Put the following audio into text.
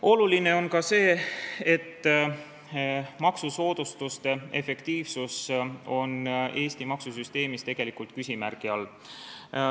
Oluline on ka see, et maksusoodustuste efektiivsus on Eesti maksusüsteemis tegelikult küsimärgi all.